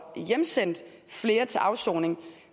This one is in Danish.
hjemsendt flere til afsoning